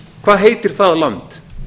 hvað heitir það land